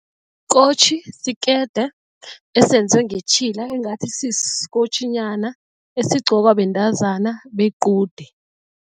Isikotjhi sikede esenziwe ngetjhila engathi sisikotjhinyana esigqokwa bentazana bequde.